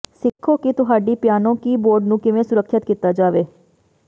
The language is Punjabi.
ਸਿੱਖੋ ਕਿ ਤੁਹਾਡੀ ਪਿਆਨੋ ਕੀਬੋਰਡ ਨੂੰ ਕਿਵੇਂ ਸੁਰੱਖਿਅਤ ਕੀਤਾ ਜਾਵੇ